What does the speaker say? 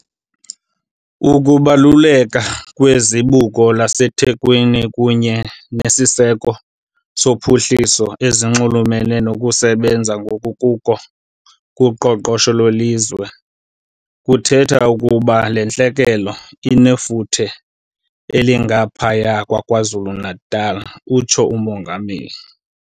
"Ukubaluleka kweZibuko laseThekwini kunye neziseko zophuhliso ezinxulumene nokusebenza ngokukuko koqoqosho lwelizwe kuthetha ukuba le ntlekele inefuthe elingaphaya KwaZulu-Natal," utshilo uMongameli.